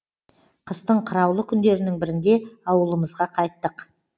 қыстың қыраулы күндерінің бірінде ауылымызға қайттық